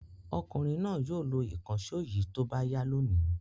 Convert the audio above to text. Ọkùnrin náà yóò lo ìkànṣó yìí tó bá yá lónìí.